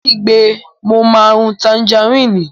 Ó kígbe mo máa rún tanjarínnì!